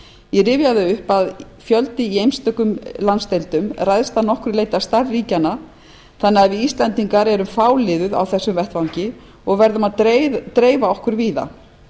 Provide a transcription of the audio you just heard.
ég rifja það upp að fjöldi í einstökum landsdeildum ræðst að nokkru leyti af stærð ríkja þannig að við íslendingar erum fáliðuð á þessum vettvangi og verðum að dreifa okkur víða